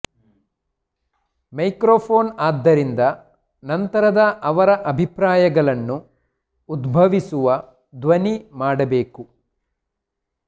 microphone ಆದ್ದರಿಂದ ನಂತರದ ಅವರ ಅಭಿಪ್ರಾಯಗಳನ್ನು ಉದ್ಭವಿಸುವ ಧ್ವನಿ ಮಾಡಬೇಕು